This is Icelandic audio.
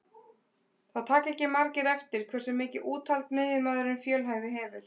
Það taka ekki margir eftir hversu mikið úthald miðjumaðurinn fjölhæfi hefur.